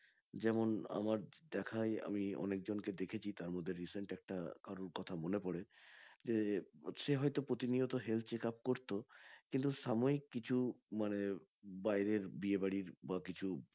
যেমন আমার দেখায় আমি অনেক জনকে দেখেছি তারমধ্যে recent একটা কারোর কথা মনে পড়ে যে সে হয়তো প্রতি নিয়ত health checkup করতো কিন্তু সাময়িক কিছু মানে বাইরের বিয়ে বাড়ি বা কিছু